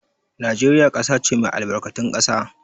Najeriya ƙasa ce mai albarkatun ƙasa.